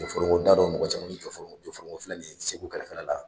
Jɔfɔrɔngɔ dadɔ mɔgɔ caman bɛ Jɔfɔrɔngɔ Jɔfɔrɔngɔ filɛ nin ye Segu kɛrɛfɛla la